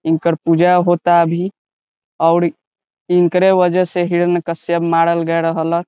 हिनकर पूजा होता अभी और हिनकरे वजह से ही हिरणकश्यप मारल गेल रहा।